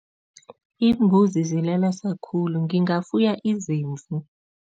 Iimbuzi zilelesa khulu, ngingafuya izimvu.